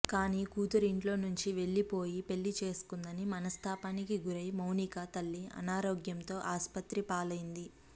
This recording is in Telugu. కానీ కూతురు ఇంట్లోంచి వెళ్లిపోయి పెళ్లి చేసుకుందని మనస్తాపానికి గురై మౌనిక తల్లి అనారోగ్యంతో ఆస్పత్రి పాలైంది